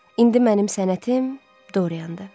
İndi mənim sənətim Doriandır.